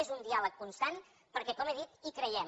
és un diàleg constant perquè com he dit hi creiem